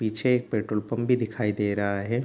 पीछे एक petrol pump भी दिखाई दे रहा हैं।